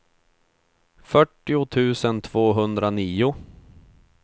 fyrtio tusen tvåhundranio